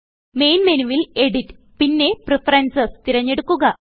main മെനുവിൽ edit പിന്നെ preferences തിരഞ്ഞെടുക്കുക